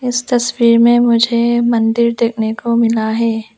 इस तस्वीर में मुझे मंदिर देखने को मिला है।